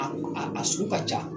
A a sugu ka ca